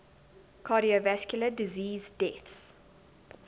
cardiovascular disease deaths